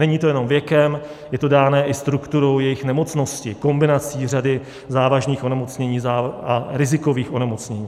Není to jenom věkem, je to dáno i strukturou jejich nemocnosti, kombinací řady závažných onemocnění a rizikových onemocnění.